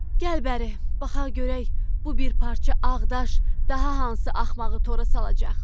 Gəl bəri, baxaq görək bu bir parça ağ daş daha hansı axmağı tora salacaq.